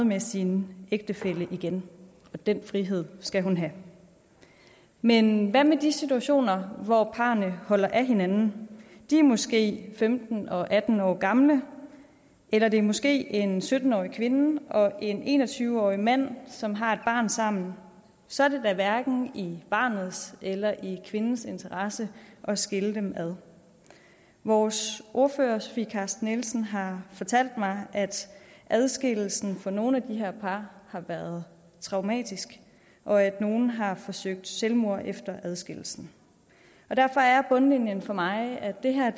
med sin ægtefælle igen og den frihed skal hun have men hvad med de situationer hvor parrene holder af hinanden de er måske femten og atten år gamle eller det er måske en sytten årig kvinde og en en og tyve årig mand som har et barn sammen så er det da hverken i barnets eller i kvindens interesse at skille dem ad vores ordfører fru sofie carsten nielsen har fortalt mig at adskillelsen for nogle af de her par har været traumatisk og at nogle har forsøgt selvmord efter adskillelsen derfor er bundlinjen for mig at det her